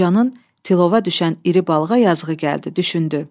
Qocanın tilova düşən iri balığa yazığı gəldi, düşündü.